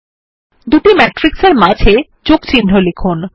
দুটি ম্যাট্রিক্স এর মাঝে যোগচিহ্ন লিখুন